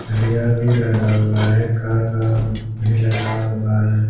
सरिया भी लगा हुआ है का काम भी लगा हुआ है।